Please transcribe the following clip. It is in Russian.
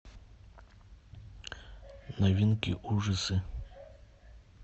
новинки ужасы